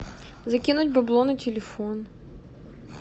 закинуть бабло на телефон